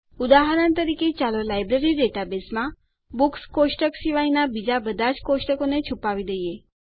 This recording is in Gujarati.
ઉદાહરણ તરીકે ચાલો લાઈબ્રેરી ડેટાબેઝમાં બુક્સ કોષ્ટક શિવાયનાં બીજા બધા જ કોષ્ટકોને છુપાવી દઈએ